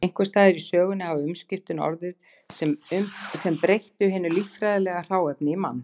Einhvers staðar í sögunni hafa umskiptin orðið sem breyttu hinu líffræðilega hráefni í mann.